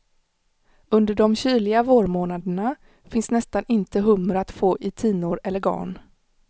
Under de kyliga vårmånaderna finns nästan inte hummer att få i tinor eller garn.